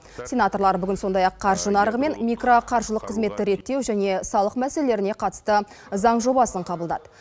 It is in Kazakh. сенаторлар бүгін сондай ақ қаржы нарығы мен микроқаржылық қызметті реттеу және салық мәселелеріне қатысты заң жобасын қабылдады